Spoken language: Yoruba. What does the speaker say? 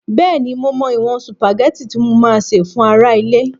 Bẹ́ẹ̀ni, mo mọ ìwọ̀n sùpàgẹ́tì tí mo máa sè fún ará ilé